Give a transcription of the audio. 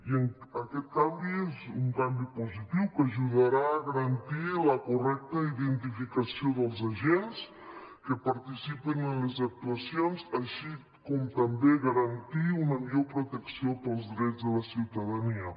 i aquest canvi és un canvi positiu que ajudarà a garantir la correcta identificació dels agents que participen en les actuacions així com també garantir una millor protecció per als drets de la ciutadania